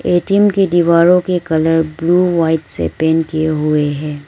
ATM की दीवारों के कलर ब्लू व्हाइट से पेंट किए हुए हैं।